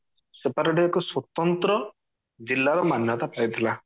separate ଏକ ସ୍ଵତନ୍ତ୍ର ଜିଲ୍ଲା ର ମାନ୍ୟତା ପାଇଥିଲା